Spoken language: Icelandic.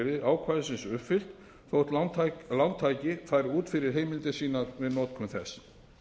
eru hlutlæg skilyrði ákvæðisins uppfyllt þótt lántaki fari út fyrir heimildir sínar við notkun þess